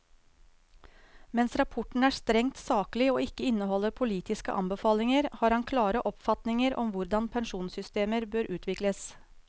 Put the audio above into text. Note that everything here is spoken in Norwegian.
Mens rapporten er strengt saklig og ikke inneholder politiske anbefalinger, har han klare oppfatninger om hvordan pensjonssystemer bør utvikles.